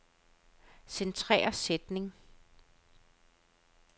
Centrer sætning.